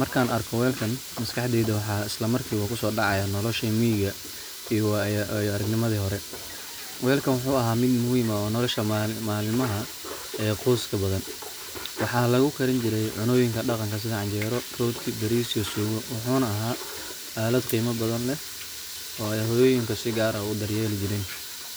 Markan arko welkan maskaxdeyda maxa isla marki kusodacaya noloshi miciga iyo waayo aragnimadi hore, welkan wuxu aha mid muhiim aah oo nolosha malmaxa qoska badhan, waxa laguqarin jire cuno yiinka daqanka faraxa badana sida canjero, fudka baaris, iyo suugo, muxuu na ahaa aalad qiima badana leh oo hooyoyinka sii fcn udaryeli jiiren,